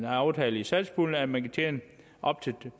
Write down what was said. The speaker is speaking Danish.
aftale i satspuljen at man kan tjene op til